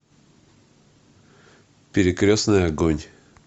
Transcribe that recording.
перекрестный огонь